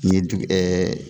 N ye digi ɛɛɛ